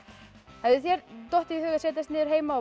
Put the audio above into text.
hefði þér dottið í hug að setjast niður heima og